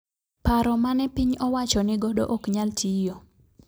Paro mane piny owacho ni godo ok nyal tiyo